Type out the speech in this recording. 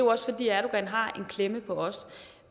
også fordi erdogan har en klemme på os